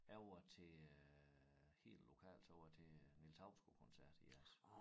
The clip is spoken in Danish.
Jeg var til øh helt lokalt så var jeg til Niels Hausgaard koncert i jeres